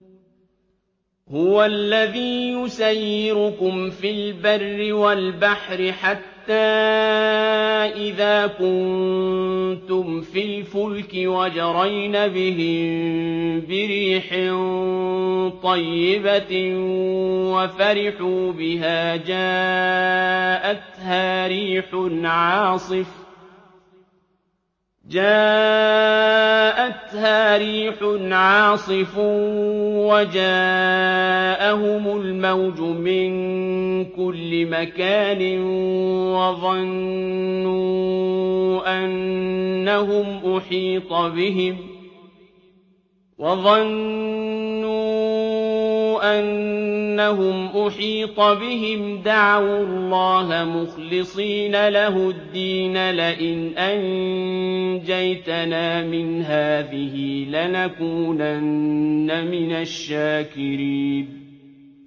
هُوَ الَّذِي يُسَيِّرُكُمْ فِي الْبَرِّ وَالْبَحْرِ ۖ حَتَّىٰ إِذَا كُنتُمْ فِي الْفُلْكِ وَجَرَيْنَ بِهِم بِرِيحٍ طَيِّبَةٍ وَفَرِحُوا بِهَا جَاءَتْهَا رِيحٌ عَاصِفٌ وَجَاءَهُمُ الْمَوْجُ مِن كُلِّ مَكَانٍ وَظَنُّوا أَنَّهُمْ أُحِيطَ بِهِمْ ۙ دَعَوُا اللَّهَ مُخْلِصِينَ لَهُ الدِّينَ لَئِنْ أَنجَيْتَنَا مِنْ هَٰذِهِ لَنَكُونَنَّ مِنَ الشَّاكِرِينَ